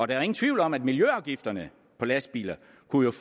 da ingen tvivl om at miljøafgifterne på lastbiler